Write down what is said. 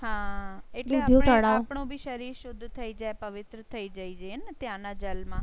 શરીર શુદ્ધ થઈ જાય. પવિત્ર થઈ જાય જીને ત્યાં ના જલ માં. એમ